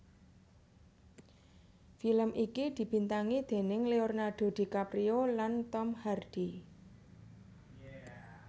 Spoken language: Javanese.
Film iki dibintangi déning Leonardo DiCaprio lan Tom Hardy